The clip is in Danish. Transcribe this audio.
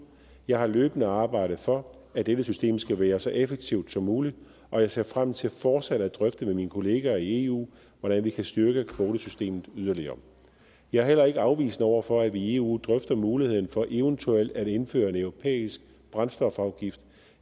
jeg har løbende arbejdet for at dette system skal være så effektivt som muligt og jeg ser frem til fortsat at drøfte med mine kollegaer i eu hvordan vi kan styrke kvotesystemet yderligere jeg er heller ikke afvisende over for at vi i eu drøfter muligheden for eventuelt at indføre en europæisk brændstofafgift